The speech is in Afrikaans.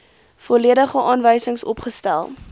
volledige aanwysings opgestel